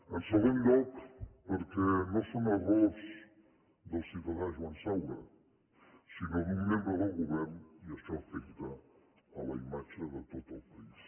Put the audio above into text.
en segon lloc perquè no són errors del ciutadà joan saura sinó d’un membre del govern i això afecta la imatge de tot el país